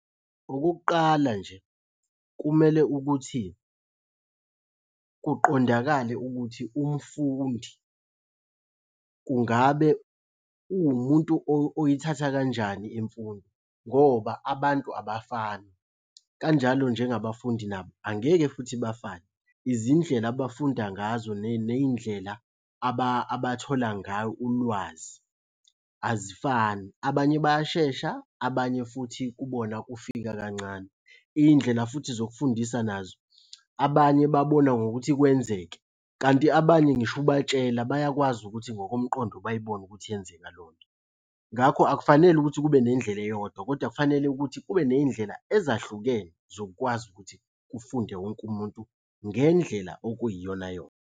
Okokuqala nje kumele ukuthi kuqondakale ukuthi umfundi kungabe uwumuntu oyithatha kanjani imfundo, ngoba abantu abafani, kanjalo njengabafundi nabo angeke futhi bafane. Izindlela abafunda ngazo ney'ndlela abathola ngayo ulwazi azifani, abanye bayashesha, abanye futhi kubona kufika kancane. Iy'ndlela futhi zokufundisa nazo abanye babona ngokuthi kwenzeke, kanti abanye ngisho ubatshela bayakwazi ukuthi ngokomqondo bayibone ukuthi iyenzeka leyonto. Ngakho akufanele ukuthi kube nendlela eyodwa kodwa kufanele ukuthi kube ney'ndlela ezahlukene zokukwazi ukuthi kufunde wonke umuntu ngendlela okuyiyonayona.